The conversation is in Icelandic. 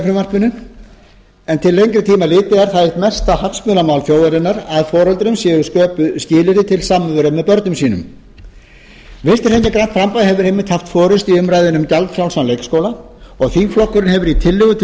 frumvarpinu en til lengri tíma litið er það eitt mesta hagsmunamál þjóðarinnar að foreldrum séu sköpuð skilyrði til samveru með börnum sínum vinstri hreyfingin grænt framboð hefur einmitt haft forustu um umræðuna um gjaldfrjálsan leikskóla og þingflokkurinn hefur í tillögu til